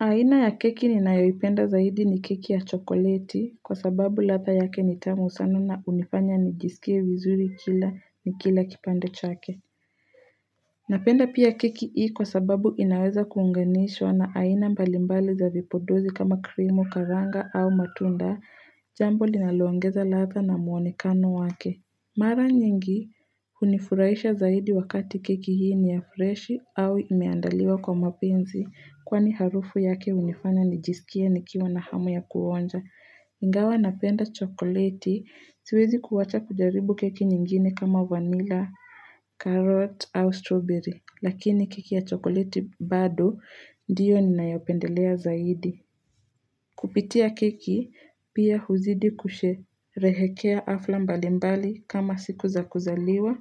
Aina ya keki ninayoipenda zaidi ni keki ya chokoleti kwa sababu ladha yake nitamu sana na hunifanya nijisikie vizuri kila nikila kipande chake Napenda pia keki hii kwa sababu inaweza kuunganishwa na aina mbalimbali za vipodozi kama krimu karanga au matunda jambo linalo ongeza ladha na mwonekano wake Mara nyingi unifurahisha zaidi wakati keki hii ni ya fresh au imeandaliwa kwa mapenzi kwani harufu yake hunifanya nijisikie nikiwa na hamu ya kuonja. Ingawa napenda chokoleti siwezi kuwacha kujaribu keki nyingine kama vanilla, carrot au strawberry. Lakini keki ya chokoleti bado ndiyo ninayo pendelea zaidi. Kupitia keki, pia huzidi kusherehekea hafla mbalimbali kama siku za kuzaliwa,